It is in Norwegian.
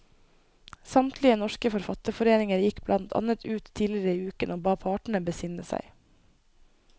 Samtlige norske forfatterforeninger gikk blant annet ut tidligere i uken og ba partene besinne seg.